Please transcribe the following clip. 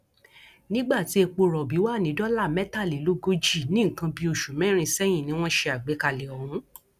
nígbà tí epo rọbì wà ní dọlà mẹtàlélógójì ní nǹkan bíi oṣù mẹrin sẹyìn ni wọn ṣe àgbékalẹ ọhún